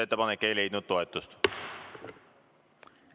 Ettepanek ei leidnud toetust.